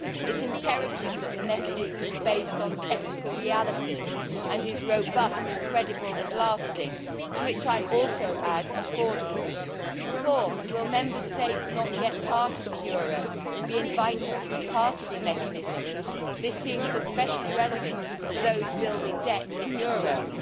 It is imperative that the mechanism is based on technical realities and is robust, credible and lasting to which I would also add affordable. Fourthly, will Member States not yet part of the euro be invited to be part of the mechanism? This seems especially relevant for those building debt in euros.